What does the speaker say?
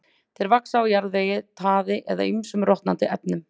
Þeir vaxa á jarðvegi, taði eða ýmsum rotnandi efnum.